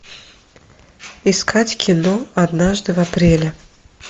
искать кино однажды в апреле